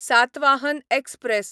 Satavahana express